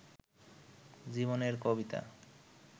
জীবনের কবিতা